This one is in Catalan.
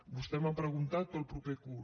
vostè m’ha preguntat pel proper curs